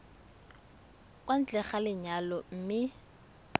kwa ntle ga lenyalo mme